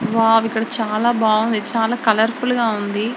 Wow ఇక్కడ చాల బాగునది. చాలా కలర్ఫుల్ గా ఉంది.